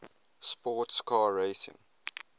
sports car racing